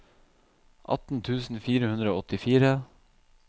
atten tusen fire hundre og åttifire